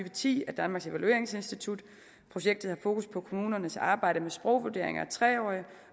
og ti af danmarks evalueringsinstitut projektet har fokus på kommuners arbejde med sprogvurderinger af tre årige